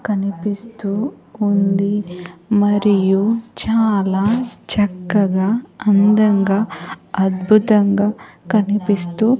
కనిపిస్తూ ఉంది మరియు చాలా చక్కగా అందంగా అద్భుతంగా కనిపిస్తూ.